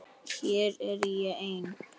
Hér er ég ein.